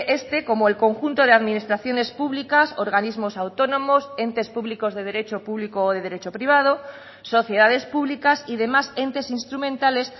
este como el conjunto de administraciones públicas organismos autónomos entes públicos de derecho público o de derecho privado sociedades públicas y demás entes instrumentales